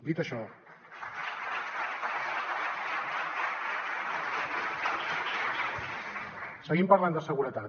dit això seguim parlant de seguretat